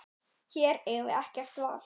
Hér eigum við ekkert val.